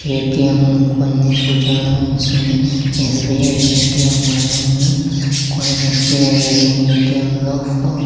ATM కొన్ని సూచనలను ఇస్తుంది ఎస్_బి_ఐ ఏ_టి_ఎం అని ఉంది కొన్ని ఎస్_బి_ఐ ఏ_టి_ఎం ఏ_టి_ఎం లో ఫో --